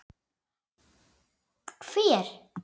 BÓNDI: Hver?